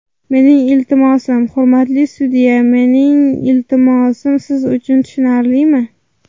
Mening iltimosim ... Hurmatli sudya, mening iltimosim siz uchun tushunarlimi?